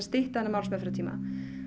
styttri málsmeðferðartíma